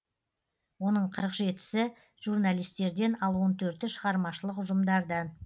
оның қырық жетісі журналистерден ал он төрті шығармашылық ұжымдардан